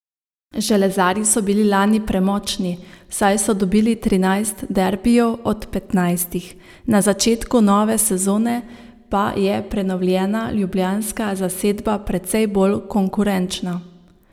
Železarji so bili lani premočni, saj so dobili trinajst derbijev od petnajstih, na začetku nove sezone pa je prenovljena ljubljanska zasedba precej bolj konkurenčna.